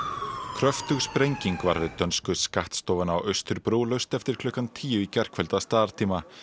kröftug sprenging varð við dönsku skattstofuna á Austurbrú laust eftir klukkan tíu í gærkvöld að staðartíma